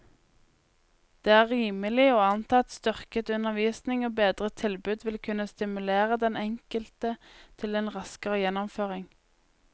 Det er rimelig å anta at styrket undervisning og bedret tilbud vil kunne stimulere den enkelte til en raskere gjennomføring.